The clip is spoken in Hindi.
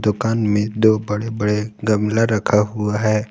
दुकान में दो बड़े बड़े गमला रखा हुआ है।